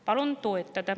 Palun eelnõu toetada.